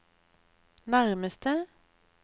nærmeste